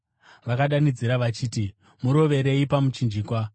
Vakadanidzira vachiti, “Murovererei pamuchinjikwa!”